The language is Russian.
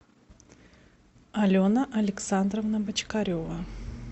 алена александровна бочкарева